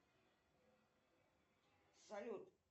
салют